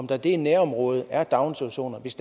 der i det nærområde er daginstitutioner hvis